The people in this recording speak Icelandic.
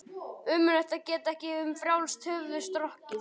Ömurlegt að geta ekki um frjálst höfuð strokið.